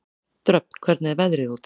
Dröfn, hvernig er veðrið úti?